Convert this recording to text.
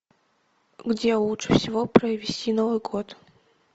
где лучше всего провести новый год